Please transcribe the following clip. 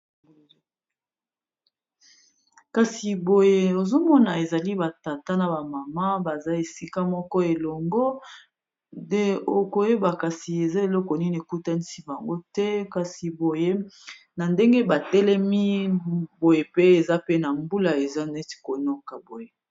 Kasi boye ozomona ezali batata na bamama baza esika moko elongo, nde okoyeba kasi eza eloko nini ekutaisi bango te, kasi boye na ndenge batelemi boye pe eza pe na mbula eza neti konoka boye.